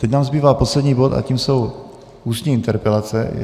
Teď nám zbývá poslední bod a tím jsou ústní interpelace.